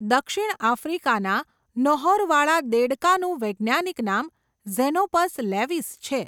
દક્ષિણ આફ્રિકાના નહોરવાળા દેડકા નું વૈજ્ઞાનિક નામ ઝેનોપસ લેવિસ છે.